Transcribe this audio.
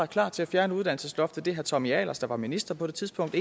klar til at fjerne uddannelsesloftet det er herre tommy ahlers der var minister på det tidspunkt